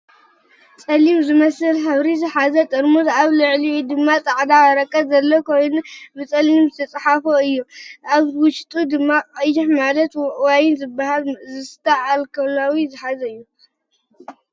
ፀሊም ዝመስል ሕብሪ ዝሓዘ ጥርሙዝ ኣብ ልዕሊኡ ድማ ፃዕዳ ወረቀት ዘለዎ ኮይኑ ብፀሊም ዝተፅሓፎ እዮ። ካብ ውሽጡ ድማ ቀይሕ ማለት ዋይን ዝብሃል ዝስተ ኣልከላዊ መስተ ዝሓዘ እዩ።